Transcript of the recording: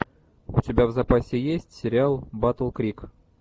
у тебя в запасе есть сериал батл крик